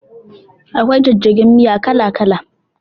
Akwai jajjagen miya kala kala